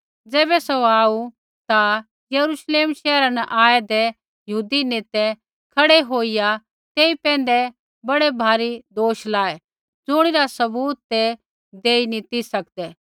ज़ैबै सौ आऊ ता यरूश्लेम शैहरा न आऐदै यहूदी नेतै खड़ै होईया तेई पैंधै बड़ैभारी दोष लाऐ ज़ुणिरा सबूत ते देई नी ती सकदै